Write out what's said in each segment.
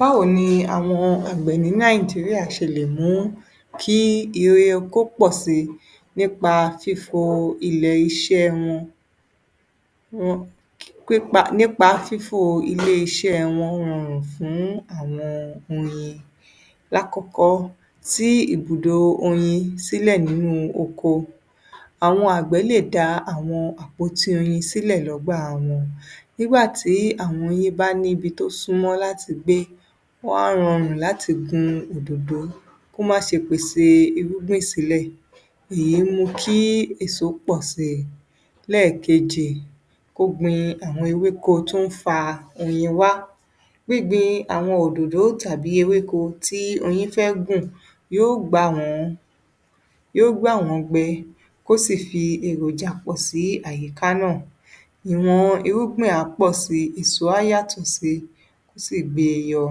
Báwo ni àwọn àgbẹ̀ ní Nigeria ṣe lè mú kí ire oko pọ̀ síi nipa fifo ilẹ̀ iṣẹ́ wọn? Wọn, um nípa pípa, nípa fífo ilé-iṣẹ́ wọn hàn fún àwọn oyin. Lákọ̀ọ́kọ́, tí ibùdó oyin sílẹ̀ nínú oko. Àwọn àgbẹ̀ lè dá àwọn àpótí oyin sílẹ̀ lọ́gbà wọn. Nígbà tí àwọn oyin bá ní ibi tó súnmọ́ láti gbé, wọ́n á rọrùn láti gun òdòdó kó máṣe pèsè irúgbìn sílẹ̀. Èyí mú kí èso pọ̀ síi. Lẹ́ẹ̀kejì, ogbìn àwọn ewéko tún ń fa oyin wá. Gbígbin àwọn òdòdó tàbí ewéko tí oyin fẹ́ gùn yó gbà wọ́n, yó gbà wọ́n gbé kó sì fi èròjà pọ̀ sí àyíká náà. Àwọn irúgbìn á pọ̀ síi, èso á yàtọ̀ síi, ó sì gbé e yọ.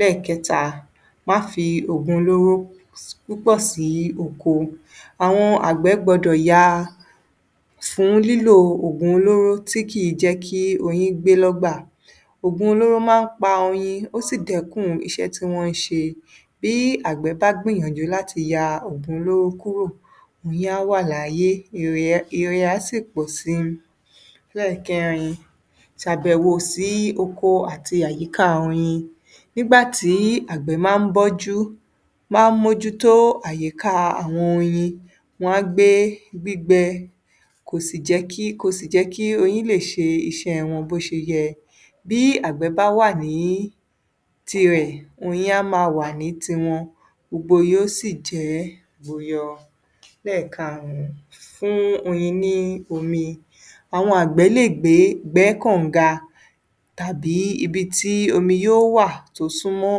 Lẹ́ẹ̀kẹta, má fi òògùn olóró púpọ̀ sí oko. Àwọn àgbẹ̀ gbọdọ̀ ya fún lílò òògùn olóró tí kìí jẹ́ kí oyin gbé lọ́gbà. Òògùn olóró máa ń pa oyin, ó sì dẹ́kun iṣẹ́ tí wọ́n ń ṣe bí àgbẹ̀ bá gbìyànjú láti ya òògùn olóró kúrò, oyin á wà láyé, ire á sì pọ̀ síi. Lẹ́ẹ̀kẹrin, ṣàbẹ̀wò sí oko àti àyíká oyin. Nígbà tí àgbẹ̀ máa ń bọ́jú, máa ń mójútó ayíká àwọn oyin, wọ́n á gbé gbígbẹ, kò sì jẹ́ kí, kò sì jẹ́ kí oyin lè ṣe iṣẹ́ wọn bó ṣe yẹ. Bí àgbẹ̀ bá wà ní tirẹ̀, oyin á máa wà ní tiwọn, gbogbo yó sì jẹ́ boyọ. Lẹ́ẹ̀karùn-ún, fún oyin ní omi. Àwọn àgbẹ̀ lè gbé, gbẹ́ kaǹga tàbí ibi tí omi yó wà, tó súnmọ́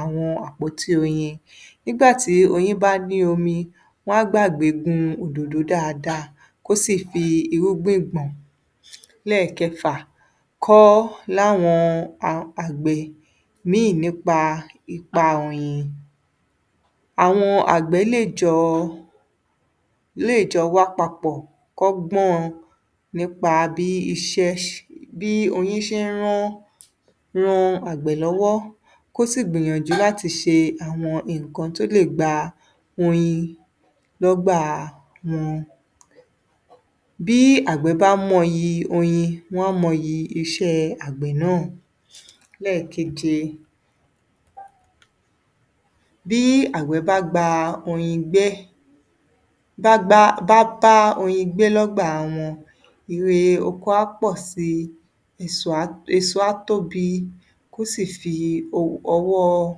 àwọn àpótí oyin. Nígbà tí oyin bá ní omi, wọ́n á gbàgbé gun òdòdó dáadáa kó sì fi irúgbìn gbọ̀n. Lẹ́ẹ̀kẹfà, kọ́ láwọn àgbẹ̀ míi nípa ipa oyin. Àwọn àgbẹ̀ lè jọ wá papọ̀ kọ́gbọ́n nípa bí iṣẹ́, nípa bí oyin ṣe ń rán, ran àgbẹ̀ lọ́wọ́, kó sì gbìyànjú láti ṣe àwọn nǹkan tó le gba oyin lọ́gbà wọn. Bí àgbẹ̀ bá mọyì oyin, wọ́n á mọyì iṣẹ́ àgbẹ̀ náà. Lẹ́ẹ̀keje, bí àgbẹ̀ bá gba oyin gbẹ́, bá gbá, bá bá oyin gbé lọ́gbà wọn, ire oko á pọ̀ síi, èso á tóbi, kó sì fi ọwọ́,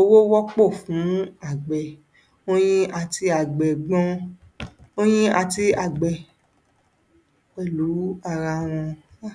owó wọ́pò fún àgbẹ̀. Oyin àti àgbẹ̀ gbọn, oyin àti àgbẹ̀ pẹ̀lú ara wọn. um!